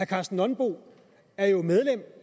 karsten nonbo er jo medlem